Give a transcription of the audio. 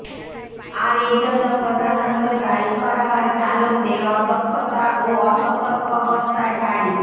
আর এ জন্য প্রধানত দায়ী করা হয় চালকদের অদক্ষতা ও অসতর্ক অবস্থায় গাড়ি